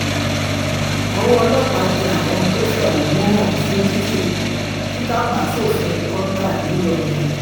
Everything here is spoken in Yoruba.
ọwọ́ ọlọ́pàá tẹ àwọn tó fẹ̀hónú hàn fún títàpá sófin kọ́ńtà ńìlọrin